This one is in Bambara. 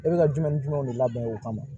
E bɛ ka jumɛn ni jumɛnw de labɛn o kama